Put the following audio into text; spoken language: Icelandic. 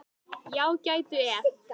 Já, gætu ef.